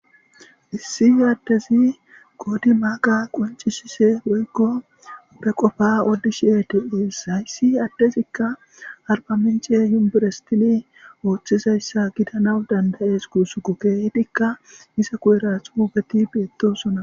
issi adezi qoodi maaqa qoncishise woygo pe qofa oddishi etees hayssi adtezikka arbamenche yumbirestini ooththizayssa gidanaw dandayees kuusu kukedikka isa ku7era xuugeti beettosona